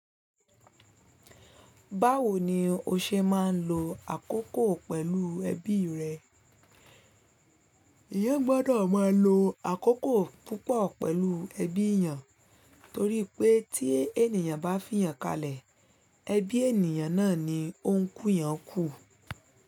Báwo ni o ṣe máa ń lo àkókò pẹ̀lú ẹbí rẹ? Eeyán gbọ́dọ̀ máa lo àkókò púpọ̀ pẹ̀lú ẹbí eeyàn, torí pé tí ènìyàn bá fiyàn kalẹ̀, ẹbí ènìyàn náà ni ó ńkú eeyàn kù.